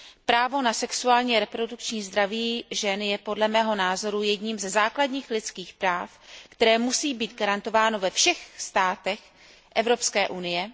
Právo na sexuální a reprodukční zdraví žen je podle mého názoru jedním ze základních lidských práv, které musí být garantováno ve všech státech Evropské unie.